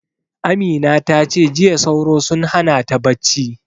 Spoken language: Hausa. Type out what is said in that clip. Amina ta ce jiya sauro sun hana ta bacci